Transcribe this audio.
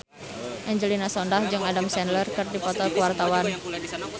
Angelina Sondakh jeung Adam Sandler keur dipoto ku wartawan